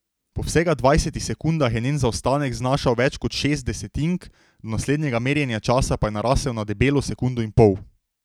Po vsega dvajsetih sekundah je njen zaostanek znašal več kot šest desetink, do naslednjega merjenja časa pa je narasel na debelo sekundo in pol.